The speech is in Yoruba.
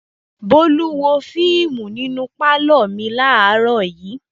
Bólú wo fíímù nínú pálọ̀ mi láàárọ̀ yìí.